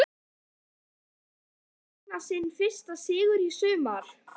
Myndi þeim takast að vinna sinn fyrsta sigur í sumar?